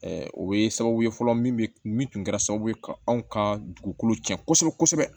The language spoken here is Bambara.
o bɛ sababu ye fɔlɔ min bɛ min tun kɛra sababu ye ka anw ka dugukolo cɛn kosɛbɛ kosɛbɛ